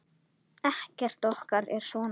Ekkert okkar er svona.